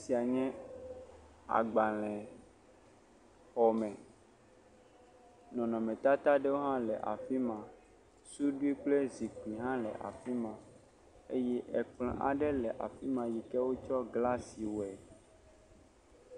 Esia nye agbalẽ xɔ me, nɔnɔmetatawo aɖe hã le afi ma, suɖui kple zikpui hã le afi ma eye ekplɔ le afi ma yike wotsɔ glasi wɔe.